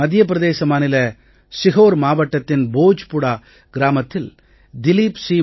மத்திய பிரதேச மாநில சிஹோர் மாவட்டத்தின் போஜ்பூரா கிராமத்தில் திலிப் சி